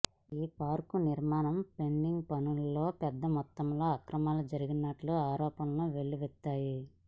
ఈ పార్కు నిర్మాణ ఫెన్సింగ్ పనుల్లో పెద్ద మొత్తంలో అక్రమాలు జరిగినట్లు ఆరోపణలు వెల్లువెత్తాయి